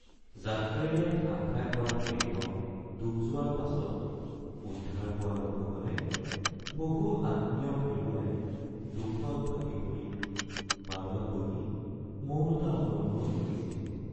যাত্ৰীৰে ঠাহ খাই পৰা ফেৰীখন ডুব যোৱাৰ পাছত উদ্ধাৰ পোৱা লোকসকলে বহু আত্মীয়ক হেৰুৱাই দুখত ভাগি পৰি পাৰত বহি মৌনতা অৱলম্বন কৰিছিল